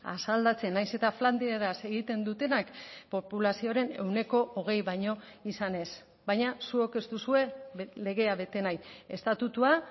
asaldatzen nahiz eta flandieraz egiten dutenak populazioaren ehuneko hogei baino izanez baina zuok ez duzue legea bete nahi estatutua